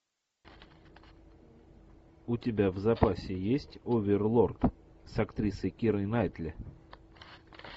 у тебя в запасе есть оверлорд с актрисой кирой найтли